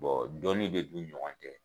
Bon dɔnni bɛ k'u ni ɲɔgɔn cɛ.